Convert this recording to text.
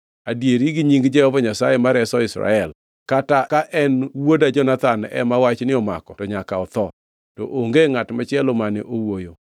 Adieri gi nying Jehova Nyasaye ma reso Israel, kata ka en wuoda Jonathan ema wachni omako to nyaka otho.” To onge ngʼat machielo mane owuoyo.